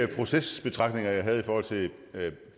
de procesbetragtninger jeg havde